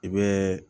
I bɛ